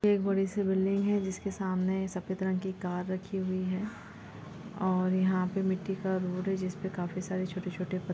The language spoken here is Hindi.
एक बड़ी सी बिल्डिंग है जिसके सामने एक सफेद रंग की कार रखी हुई है और यहाँ पर मिट्टी का रूल है जिसमें काफी सारे छोटे-छोटे--